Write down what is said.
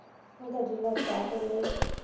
o ka di lotago le